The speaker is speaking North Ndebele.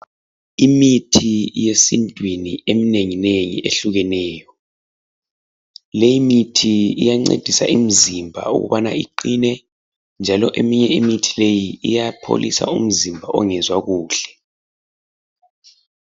Imithi yesintwini eminenginengi, ehlukeneyo. Leyi mithi iyancedisa imizimba ukubana iqine, njalo eminye imithi leyi iyapholisa umzimba ongezwa kuhle.